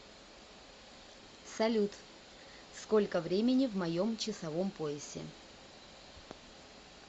салют сколько времени в моем часовом поясе